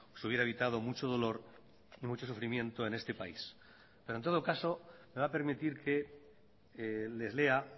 se hubiera evitado mucho dolor y mucho sufrimiento en este país pero en todo caso me va a permitir que les lea